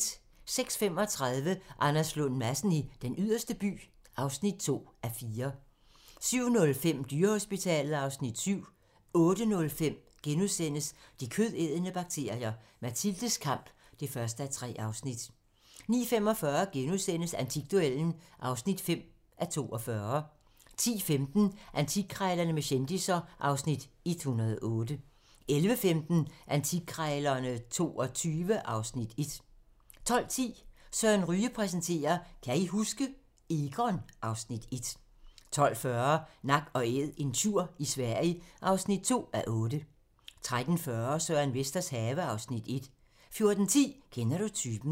06:35: Anders Lund Madsen i Den Yderste By (2:4) 07:05: Dyrehospitalet (Afs. 7) 08:05: De kødædende bakterier - Mathildes kamp (1:3)* 09:45: Antikduellen (5:42)* 10:15: Antikkrejlerne med kendisser (Afs. 108) 11:15: Antikkrejlerne XXII (Afs. 1) 12:10: Søren Ryge præsenterer: Kan I huske? - Egon (Afs. 1) 12:40: Nak & Æd - en tjur i Sverige (2:8) 13:40: Søren Vesters have (Afs. 1) 14:10: Kender du typen?